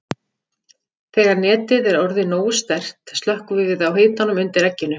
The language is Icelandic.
Þegar netið er orðið nógu sterkt slökkvum við á hitanum undir egginu.